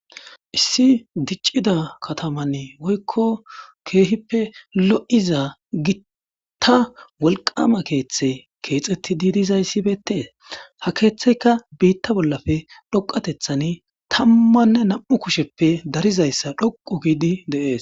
issi diccida katamann woykko keehippe lo'iza gitta wolqama keeththe keexetti diidizayssibeetees ha keeththeyka biitta bollafe dhoqatethan tammanne nam'u kusheppe darizayssa dhoqu giidi de'ees